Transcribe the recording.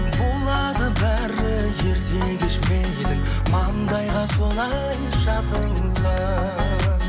болады бәрі ерте кеш мейлі маңдайға солай жазылған